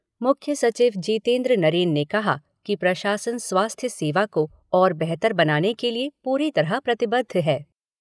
मुख्य सचिव जीतेन्द्र नरेन ने कहा कि प्रशासन स्वास्थ्य सेवा को और बेहतर बनाने के लिए पूरी तरह प्रतिबद्ध है।